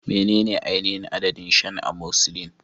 Menene ainihin adadin shan amoxicillin?